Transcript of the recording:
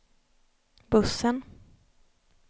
bussen